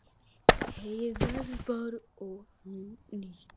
Heyið verður bara ónýtt.